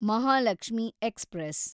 Mahalakshmi express